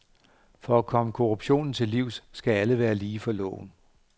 For at komme korruptionen til livs skal alle være lige for loven.